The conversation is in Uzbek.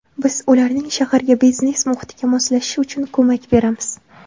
Biz ularning shaharga, biznes muhitiga moslashishi uchun ko‘mak beramiz.